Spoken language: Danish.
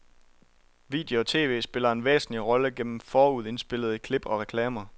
Video og tv spiller en væsentlig rolle gennem forudindspillede klip og reklamer.